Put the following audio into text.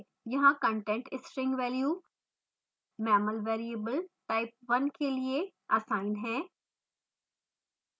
यहाँ constant string value mammal variable type1 के लिए असाइन है